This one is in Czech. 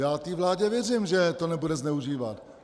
Já té vládě věřím, že to nebude zneužívat.